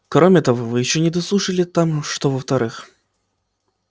кроме того вы ещё не дослушали там что во-вторых